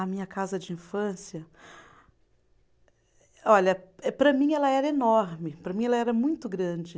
A minha casa de infância, olha, para mim ela era enorme, para mim ela era muito grande.